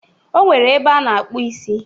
Ọ nwere ebe a na-akpụ isi